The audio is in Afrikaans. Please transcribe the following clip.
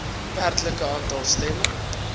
werklike aantal stemme